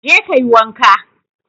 Je ka yi wanka!